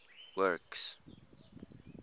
works